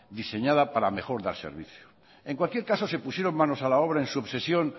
diseñada para mejor dar servicio en cualquier caso se pusieron manos a la obra en su obsesión